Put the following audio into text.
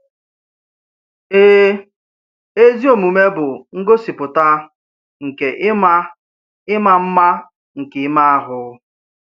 Èè, ezi omume bụ ngosipùta nke ị̀ma ị̀ma mma nke ìmé ahụ.